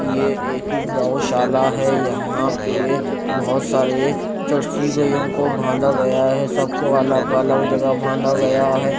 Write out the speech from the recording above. ये एक गोशाला है यहां पे बहुत सारे जर्सी गईयों को बांधा गया है सबको अलग अलग जगह बांधा गया है।